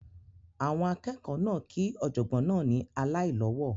àwọn akẹ́kọ̀ọ́ náà kí Ọ̀jọ̀gbọ́n náà ni aláìlọ́wọ̀